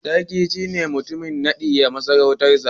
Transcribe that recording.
Sarki shine mutum na ɗaya a masarautarsa